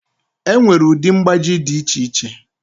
Enwere ụdị mgbaji dị iche iche.